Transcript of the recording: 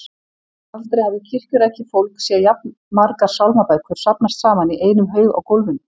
Aldrei hafði kirkjurækið fólk séð jafn margar sálmabækur safnast saman í einum haug á gólfinu.